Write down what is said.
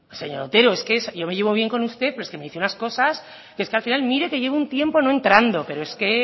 señor otero es que yo me llevo bien con usted pero es que me dice unas cosas que es que al final mire que llevo un tiempo no entrando pero es que